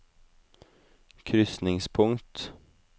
krysningspunkt